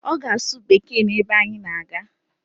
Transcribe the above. Ọ ga-asụ Bekee n'ebe anyị na-aga